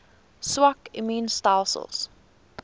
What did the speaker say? swak immuun stelsels